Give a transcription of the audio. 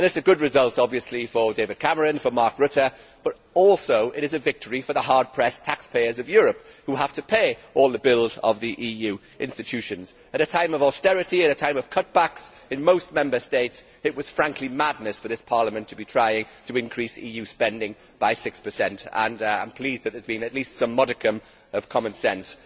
This is obviously a good result for David Cameron, for Mark Rutte, but it is also a victory for the hard pressed taxpayers of Europe who have to pay all the bills of the EU institutions. At a time of austerity, at a time of cutbacks in most Member States, it was frankly madness for this Parliament to be trying to increase EU spending by 6. I am pleased that there has been at least some modicum of common sense.